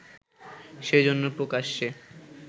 সেজন্য প্রকাশ্যে